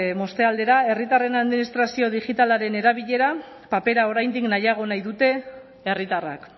moztea aldera herritarren administrazio digitalaren erabilera papera oraindik nahiago nahi dute herritarrak